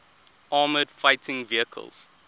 armoured fighting vehicles